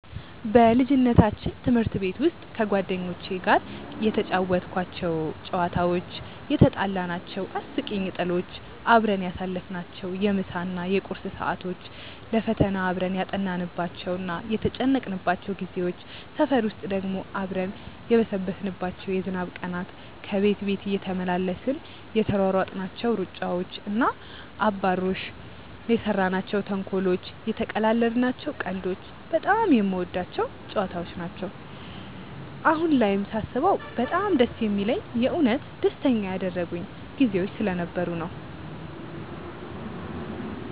በልጅነታችን ትምህርት ቤት ውስጥ ከጓደኞቼ ጋር የተጫወትኳቸው ጨዋታዎች፣ የትጣላናቸው አስቂኝ ጥሎች፣ አብረን ያሳለፍናቸውን የምሳ እና የቁርስ ሰዓቶች፣ ለፈተና አብረን ያጠናንባቸው እና የተጨነቅንባቸው ጊዜዎች፣ ሰፈር ውስጥ ደግሞ አብረን የበሰበስንባቸው የዝናብ ቀናት፣ ከቤት ቤት እየተመላለስን የተሯሯጥናቸው ሩጫዎች እና አባሮሾች፣ የሰራናቸው ተንኮሎች፣ የተቀላለድናቸው ቀልዶች በጣም የምወዳቸው ጨዋታዎች ነው። አሁን ላይም ሳስበው በጣም ደስ የሚለኝ የእውነት ደስተኛ ያደረጉኝ ጊዜዎች ስለነበሩ ነው።